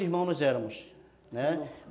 irmãos nós éramos, né.